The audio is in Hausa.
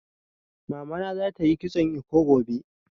Mamana za ta yi kitson eko gobe